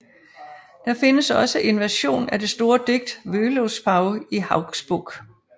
Der findes også en version af det store digt Völuspá i Hauksbok